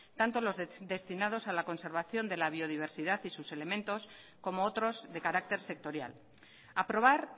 tanto los destinados a la conservación de la biodiversidad y sus elementos como otros de carácter sectorial aprobar